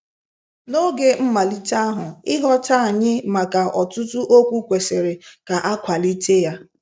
N'oge mmalite ahụ, ịghọta anyị maka ọtụtụ okwu kwesịrị ka a kwalite ya.